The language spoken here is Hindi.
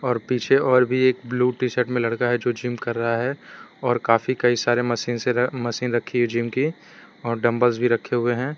और पीछे और भी एक ब्लू टी शर्ट में लड़का है जो जिम कर रहा है और काफी कई सारे मशीन से मशीन रखी है जिम की और डबल्स भी रखे हुए हैं।